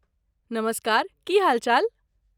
नमस्कार, की हालचाल?